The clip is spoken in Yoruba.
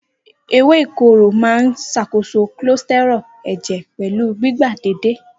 Ewé ìkorò máa ń ṣàkóso cholesterol ẹ̀jẹ̀ pẹ̀lú gbígba déédéé.